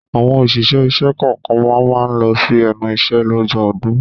Àwọn òṣìṣẹ́ ìṣẹ́ kọ̀ọ̀kan máa ma lọ sí ẹnu iṣẹ́ lọ́jọ́ ọdún